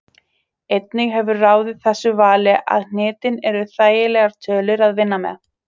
Einnig hefur ráðið þessu vali að hnitin eru þægilegar tölur að vinna með.